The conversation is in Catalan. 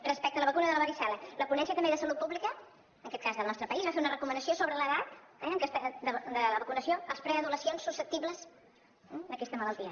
respecte a la vacuna de la varicel·la la ponència també de salut pública en aquest cas del nostre país va fer una recomanació sobre l’edat de la vacunació als preadolescents susceptibles d’aquesta malaltia